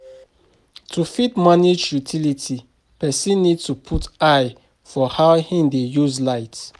To fit manage utility, person need to put eye for how im dey use light